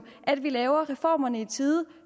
at vi laver reformerne i tide